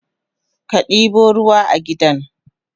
Kadibo ruwa a gidan?